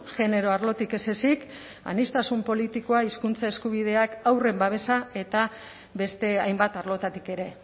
genero arlotik ez ezik aniztasun politikoa hizkuntza eskubideak haurren babesa eta beste hainbat arlotatik ere